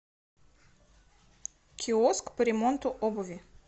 киоск по ремонту обуви